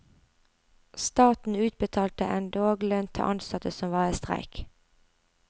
Staten utbetalte endog lønn til ansatte som var i streik.